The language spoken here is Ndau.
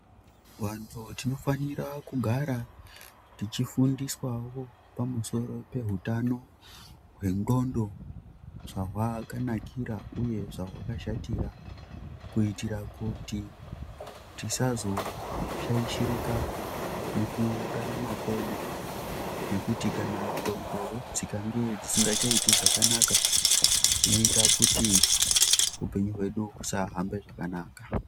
Vantu tinofanira kugara techifundiswawo pamusoro peutano hwednhlondo zvahwakanakira uye zvahwakashatira kuitira kuti tizazoshaishirika mukurarama kwedu nekuti kana ndhlondo dzikange dzisingachaiti zvakanaka zvinoita kuti hupenyu hwedu husahambe zvakanaka.